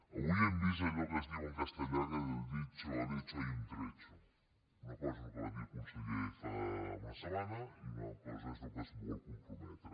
avui hem vist allò que es diu en castellà que del dicho al hecho hay un trecho una cosa és el que va dir el conseller fa una setmana i una altra cosa és al que es vol comprometre